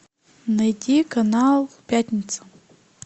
найти канал пятница